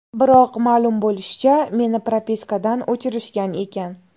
Biroq, ma’lum bo‘lishicha, meni propiskadan o‘chirishgan ekan.